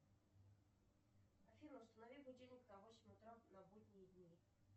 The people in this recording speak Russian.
афина установи будильник на восемь утра на будние дни